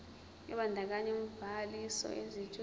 ebandakanya ubhaliso yesitshudeni